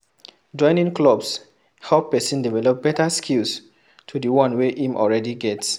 Joining clubs help person develop better skills to di one wey im already get